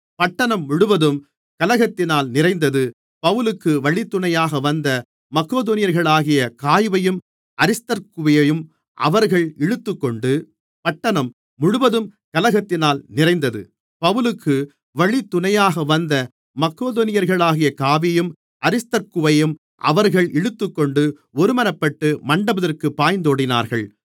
பட்டணம் முழுவதும் கலகத்தினால் நிறைந்தது பவுலுக்கு வழித்துணையாக வந்த மக்கெதோனியர்களாகிய காயுவையும் அரிஸ்தர்க்குவையும் அவர்கள் இழுத்துக்கொண்டு ஒருமனப்பட்டு மண்டபத்திற்கு பாய்ந்தோடினார்கள்